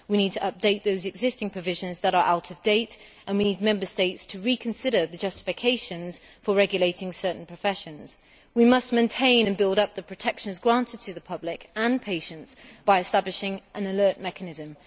we need to update those existing provisions that are out of date, and we need Member States to reconsider the justifications for regulating certain professions. We must maintain and build up the protections granted to the public and patients by establishing an alert mechanism.